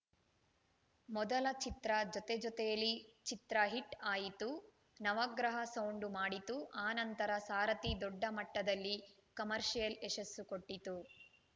ಮೊದಲ ಚಿತ್ರ ಜೊತೆ ಜೊತೆಯಲಿ ಚಿತ್ರ ಹಿಟ್‌ ಆಯಿತು ನವಗ್ರಹ ಸೌಂಡು ಮಾಡಿತು ಆ ನಂತರ ಸಾರಥಿ ದೊಡ್ಡ ಮಟ್ಟದಲ್ಲಿ ಕಮರ್ಷಿಯಲ್‌ ಯಶಸ್ಸು ಕೊಟ್ಟಿತು